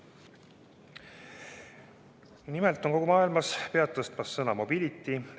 Nimelt on kogu maailmas pead tõstmas sõna mobility.